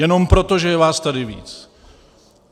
Jenom proto, že je vás tady víc.